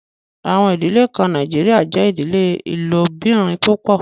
Àwọn idílẹ̀ kàn Nàìjíríà jẹ idílẹ̀ ilòbìrín púpọ̀